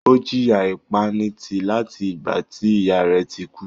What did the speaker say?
Ó jìyà ìpanitì láti ìgbà tí ìyá rẹ̀ ti kú.